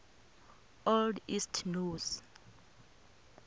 old east norse